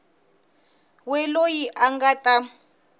we loyi a nga ta